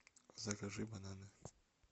закажи бананы